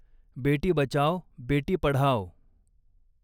बेटी बचाओ बेटी पढाओ